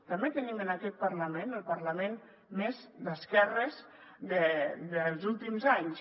també tenim en aquest parlament el parlament més d’esquerres dels últims anys